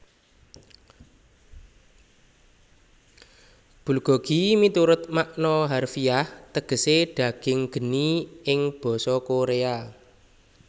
Bulgogi miturut makna harfiah tegesé daging geni ing basa Koréa